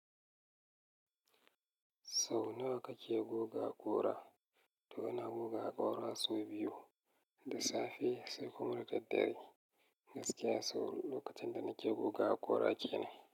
Sau nawa kake goga haƙora? To ina goga haƙora sau biyu, da safe sai kuma da daddare. Gaskiya sau lokacin da nake goga haƙora kenan.